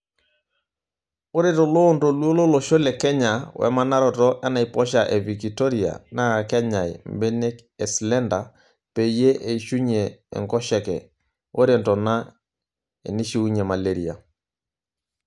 Ore toloontoluo lolosho le Kenya wemanaroto enaiposha e vikitoria naakenyay mbenek eslender peyie eishunyie enkoshoke ore ntonaa enishiunyie malaria.